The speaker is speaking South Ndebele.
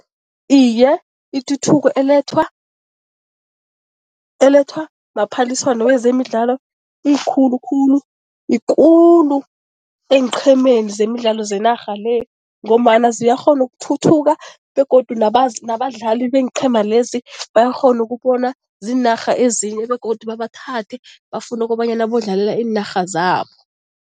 Iye, ituthuko elethwa elethwa maphaliswano wezemidlalo iyikhulu khulu, yikulu eenqhemeni zemidlalo zenarha le ngombana ziyakghona ukuthuthuka begodu nabadlali beenqhema lezi bayakghona ukubona ziinarha ezinye begodu babathathe, bafune ukobanyana bodlalela iinarha zabo.